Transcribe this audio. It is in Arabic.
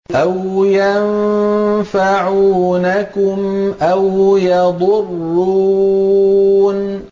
أَوْ يَنفَعُونَكُمْ أَوْ يَضُرُّونَ